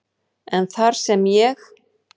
en þar sem ég